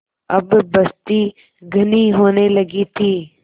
अब बस्ती घनी होने लगी थी